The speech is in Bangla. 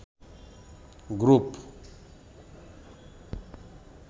গ্রুপ